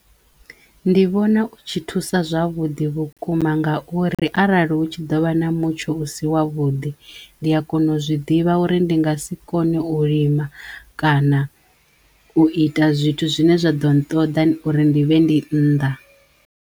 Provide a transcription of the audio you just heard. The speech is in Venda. Ndi vhona u tshi thusa zwavhuḓi vhukuma ngauri arali hu tshi ḓovha na mutsho u si wa vhuḓi ndi a kona u zwi ḓivha uri ndi nga si kone u lima kana u ita zwithu zwine zwa ḓo nṱoḓa uri ndi vhe ndi nnḓa.